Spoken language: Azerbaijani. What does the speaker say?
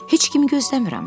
Heç kim gözləmirəm.